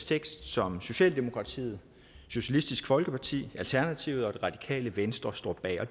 tekst som socialdemokratiet socialistisk folkeparti alternativet og det radikale venstre står bag og